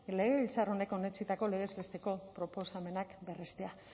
legebiltzar honek onetsitako legez besteko proposamenak berrestea